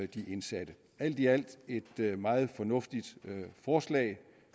de indsatte alt i alt et meget fornuftigt forslag